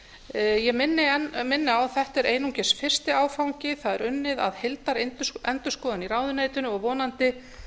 ég minni á að þetta er einungis fyrsti áfangi það er unnið að heildarendurskoðun í ráðuneytinu og vonandi